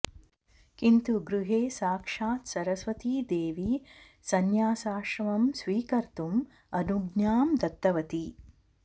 किन्तु गृहे साक्षात् सरस्वती देवी संन्यासाश्रमं स्वीकर्तुम् अनुज्ञां दत्तवती